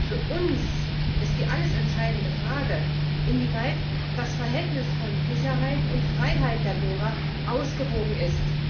Für uns ist die alles entscheidende Frage, inwieweit das Verhältnis von Sicherheit und Freiheit der Bürger ausgewogen ist.